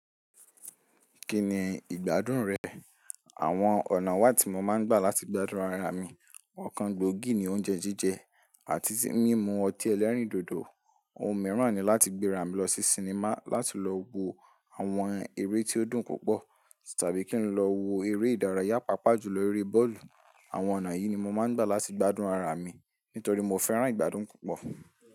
Kíni ìgbádùn rẹ? Àwọn ọ̀nà wá ti mo máa ń gbà láti gbádùn ara mi. Ọ̀kan gbogí ni oúnjẹ jíjẹ àti mímu ọtí ẹlẹ́rìndòdò. Ohun mìíràn ni láti gbéra mi lọ sí sinimá láti lọ wo àwọn eré tí ó dùn púpọ̀ tàbí kí n lọ wo eré ìdárayá pàápàá jùlọ eré bọ́ọ̀lù. Àwọn ọ̀nà yìí ni mo máa ń gbà láti gbádùn ara mi nítorí mo fẹ́ràn ìgbádùn púpọ̀.